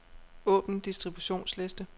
Åbn distributionsliste.